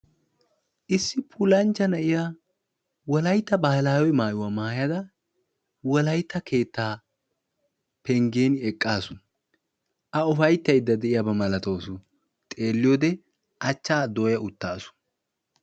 issi puulanchcha na'iyaa Wolaytta baahilawee maayuwaa maayyada Wolaytta keettaa penggen eqqaasu; a ufayttayde diyaaba malawus; xeeliyoode achcha dooyya uttaasu.